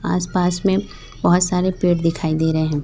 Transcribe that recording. आसपास में बहोत सारे पेड़ दिखाई दे रहे हैं।